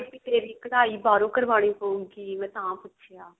ਵੀ ਕਢਾਈ ਬਾਹਰੋਂ ਕਰਵਾਉਣੀ ਪਉਗੀ ਮੈਂ ਤਾਂ ਪੁੱਛਿਆ